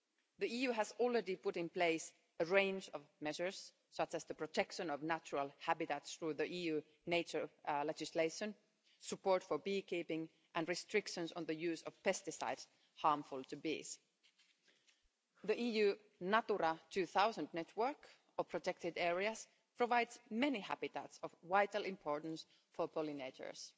The EU has already put in place a range of measures, such as the protection of natural habitats through the EU's nature legislation, support for beekeeping and restrictions on the use of pesticides harmful to bees. The EU Natura 2000 network of protected areas provides many habitats of vital importance for pollinators,